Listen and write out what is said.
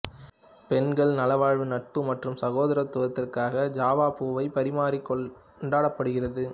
பெண்கள் நல்வாழ்வு நட்பு மற்றும் சகோதரத்துவத்திற்காக ஜாவா பூவை பரிமாறி கொண்டாடுகிறார்கள்